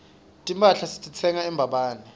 timphahla sititsenga embabane